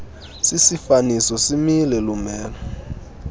sisifaniso simile lumelo